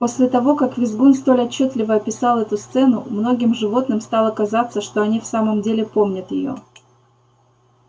после того как визгун столь отчётливо описал эту сцену многим животным стало казаться что они в самом деле помнят её